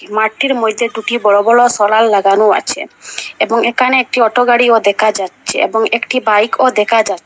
মাঠটির মইধ্যে দুটি বড় বড় সলার লাগানো আছে এবং একানে একটি অটো গাড়িও দেখা যাচ্ছে এবং একটি বাইকও দেখা যা--